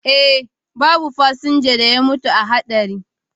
Eh, babu fasinja da ya mutu a hatsarin